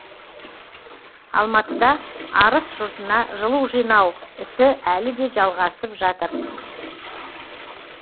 алматыда арыс жұртына жылу жинау ісі әлі де жалғасып жатыр